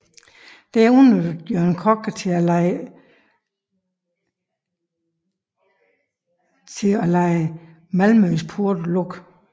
Dette udnyttede Jørgen Kock til at lade Malmøs porte lukke